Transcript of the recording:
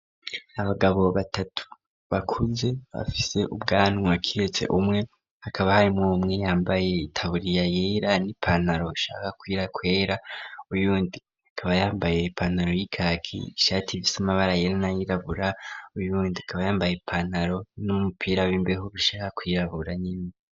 Abagabo batatu bakuze bafise ubwanwa kiretse umwe hakaba hari muumwe yambaye itaburiya yera n'ipanaro shaka kuira kwera uyundi akaba yambaye ipanaro y'ikaki ishati vise amabara yerana yirabura uyundi akaba yambaye ipanaro n'umupira w'imbeho bishaka kuyirabura nyuma.